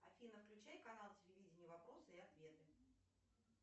афина включай канал телевидения вопросы и ответы